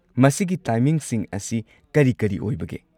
ꯃꯁꯤꯒꯤ ꯇꯥꯏꯃꯤꯡꯁꯤꯡ ꯑꯁꯤ ꯀꯔꯤ ꯀꯔꯤ-ꯀꯔꯤ ꯑꯣꯏꯕꯒꯦ?